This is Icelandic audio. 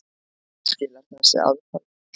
Skilar þessi aðferð miklu?